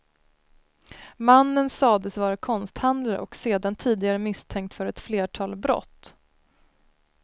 Mannen sades vara konsthandlare och sedan tidigare misstänkt för ett flertal brott.